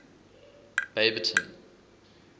baberton